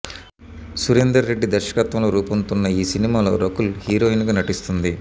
సురేందర్ రెడ్డి దర్శకత్వంలో రూపొందుతున్న ఈ సినిమాలో రకుల్ హీరోయిన్ గా నటిస్తుంది